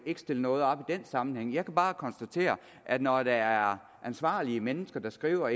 ikke stille noget op i den sammenhæng jeg kan bare konstatere at når der er ansvarlige mennesker der skriver